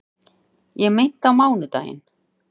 Ég meinti á mánudaginn.